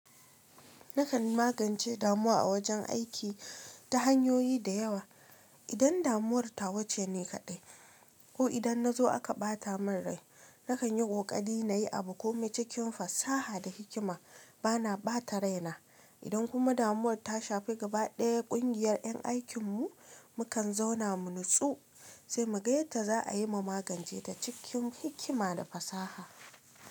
Nakan magance damuwa a wajen aiki ta hanyoyi da yawa. Idan damuwar tawace ne kaɗai, ko idan na zo aka ɓata min rai, nakan yi ƙoƙari na yi abu kome cikin fasaha da hikima bana ɓata raina. Idan kuma damuwar ta shafi gabaɗaya ƙungiyar ƴan aikin mu, mukan zauna mu nutsu, sai mu ga yadda za a yi mu magance ta cikin hikima da fasaha.